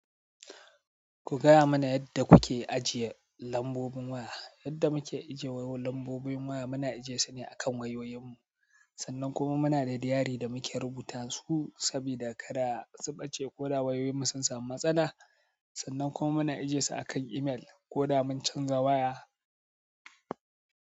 Ku gaya mana yadda kuke ajiye lambobin waya. Yadda muke ajiye wayun lambobin waya muna ajiye su ne a kan wayoyin mu. Sannan kuma muna da diary da muke rubuta su sabida kada su ɓace ko da wayoyin mu sun samu matsala. Sannan kuma muna ajiye su a kan email ko da mun canza waya.